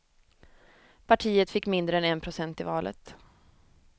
Partiet fick mindre än en procent i valet.